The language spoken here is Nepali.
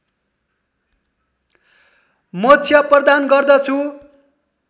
मोक्ष प्रदान गर्दछु